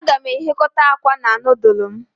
Aga m eghekota akwa na nudulu m